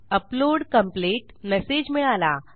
upload complete message मिळाला